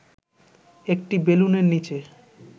একটি বেলুনের নিচে